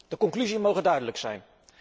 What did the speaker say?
De conclusie moge duidelijk zijn.